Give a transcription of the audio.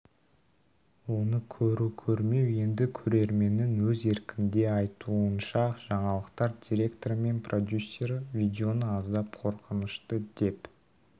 оны көру көрмеу енді көрерменнің өз еркінде айтуынша жаңалықтар директоры мен продюсері видеоны аздап қорқынышты деп